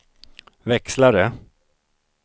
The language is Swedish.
växlare